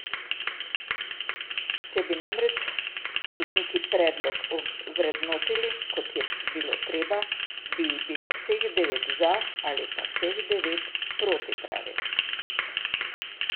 Če bi namreč sodniki predlog vrednotili, kot bi bilo treba, bi jih bilo vseh devet za ali pa vseh devet proti, pravi.